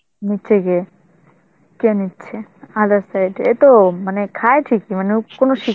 নিচ্ছে কে? কে নিচ্ছে? other side, এ তো আ মানে খায় ঠিকই, মানে ও কোনো